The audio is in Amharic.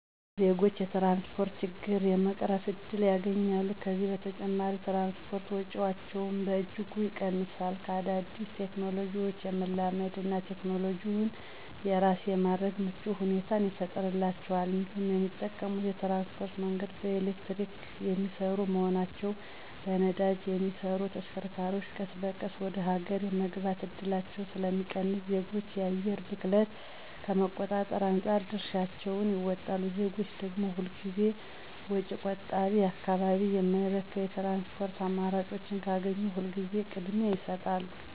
ዜጎች የትራንስፖርት ችግራቸውን የመቅረፍ እድል ያገኛሉ፤ ከዚህም በተጨማሪ የትራንስፖርት ወጪያቸውን በእጅጉ ይቀንሳሉ፤ ከአዳዲስ ቴክኖሎጂዎች የመላመድ እና ቴክኖሎጂውን የራስ የማድረግ ምቹ ሁኔታን ይፈጥርላቸዋል እንዲሁም የሚጠቀሙት የትራንስፖርት መንገድ በኤሌክትሪክ የሚሰሩ በመሆናቸው በነዳጅ የሚሰሩ ተሽከርካሪዎች ቀስ በቀስ ወደ ሀገር የመግባት እድላቸው ስለሚቀንስ ዜጎች የአየር ብክለትን ከመቆጣጠር አንፃር የድርሻቸውን ይወጣሉ። ዜጎች ደግም ሁል ጊዜ ወጪ ቆጣቢና አካባቢን የማይበክል የትራንስፖርት አማራጮችን ካገኙ ሁል ጊዜ ቅድሚያ ይሰጣሉ።